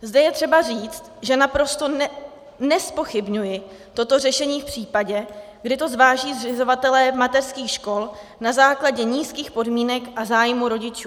Zde je třeba říct, že naprosto nezpochybňuji toto řešení v případě, kdy to zváží zřizovatelé mateřských škol na základě nízkých podmínek a zájmu rodičů.